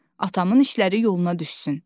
Atamın işləri yoluna düşsün.